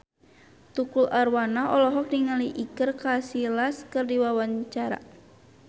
Tukul Arwana olohok ningali Iker Casillas keur diwawancara